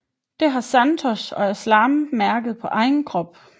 Det har Santosh og Aslam mærket på egen krop